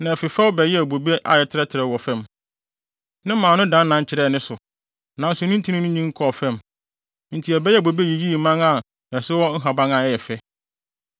na ɛfefɛw bɛyɛɛ bobe a ɛtrɛtrɛw wɔ fam. Ne mman no dannan kyerɛɛ ne so, nanso ne ntin no nyin kɔɔ fam. Enti ɛbɛyɛɛ bobe yiyii mman a so wɔ nhaban a ɛyɛ fɛ.